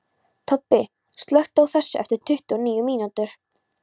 Tobbi, slökktu á þessu eftir tuttugu og níu mínútur.